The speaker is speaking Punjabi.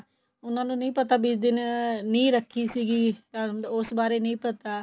ਉਨ੍ਹਾਂ ਨੂੰ ਨਹੀਂ ਪਤਾ ਵੀ ਇਸ ਦਿਨ ਨਿਹ ਰੱਖੀ ਸੀਗੀ ਉਸ ਬਾਰੇ ਨੀਂ ਪਤਾ